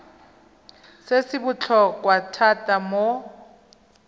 se se botlhokwa thata mo